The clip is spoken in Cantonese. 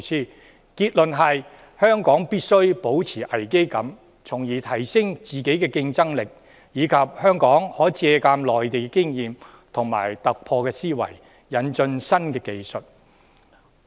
訪問團的結論是香港必須保持危機感，從而提升自己的競爭力；香港亦可借鑒內地的經驗，突破思維，引進新技術。